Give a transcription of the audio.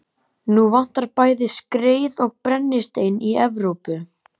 Nú vantar bæði skreið og brennistein í Evrópu.